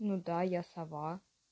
ну да я сова